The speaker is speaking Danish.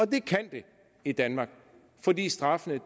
det kan det i danmark fordi straffene